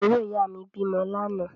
Àbúrò ìyáà mi bímọ lánàá.